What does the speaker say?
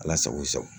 Ala sago i sago